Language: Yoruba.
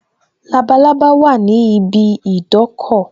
Labalábá wà ní ibi idọ́kọ̀